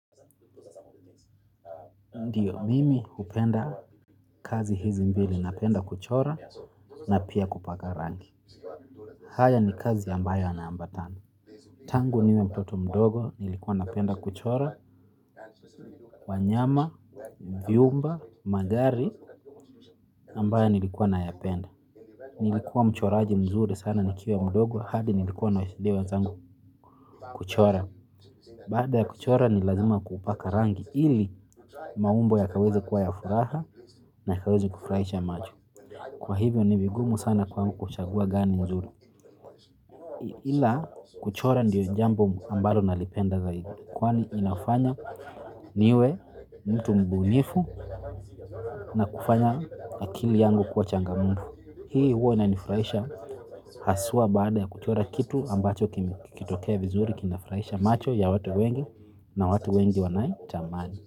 Ndiyo mimi hupenda kazi hizi mbili napenda kuchora na pia kupaka rangi haya ni kazi ambayo yanaambatana tangu niwe mtoto mdogo nilikuwa napenda kuchora wanyama viumba magari ambayo nilikuwa nayapenda nilikuwa mchoraji mzuri sana nikiwa mdogo hadi nilikuwa nasaidia wenzangu kuchora baada ya kuchora ni lazima kupaka rangi ili maumbo yakaweze kuwa ya furaha na yakaweze kufurahisha macho. Kwa hivyo ni vigumu sana kwangu kuchagua gani nzuri. Ila kuchora ndiyo jambo ambalo nalipenda zaidi. Kwani inafanya niwe mtu mbunifu na kufanya akili yangu kuwa changamufu. Hii huwa inanifurahisha haswa baada ya kuchora kitu ambacho kikitokea vizuri kinafurahisha macho ya watu wengi na watu wengi wanai tamani.